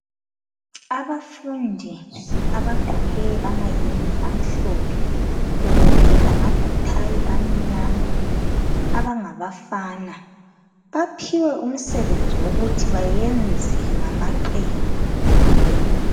Abafundi abagqoke amayembe amhlophe bebophe lama "bow-tie" .Abangabafana baphiwe umsebenzi wokuthi bayenze ngamaqembu ngama qembu.